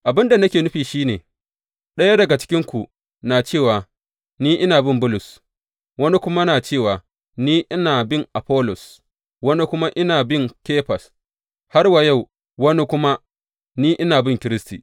Abin da nake nufi shi ne, ɗaya daga cikinku na cewa, Ni ina bin Bulus, wani na cewa, Ni ina bin Afollos, wani kuma, Ni ina bin Kefas, har wa yau wani kuma, Ni ina bin Kiristi.